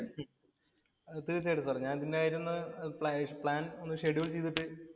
തീര്‍ച്ചയായിട്ടും സാര്. പിന്നെ ഞാന്‍ ഇരുന്നു പ്ലാന്‍ ഒന്ന് ഷെഡ്യൂള്‍ ചെയ്തിട്ട്